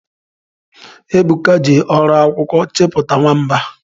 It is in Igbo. Ebuka ji ọrụ akwụkwọ chepụta nwamba